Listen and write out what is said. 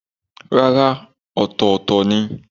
Rárá, ọ̀tọ̀ọ̀tọ̀ ni.